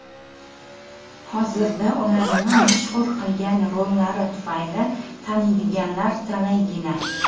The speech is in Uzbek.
Hozirda ularni mashhur qilgan rollari tufayli taniydiganlar talaygina.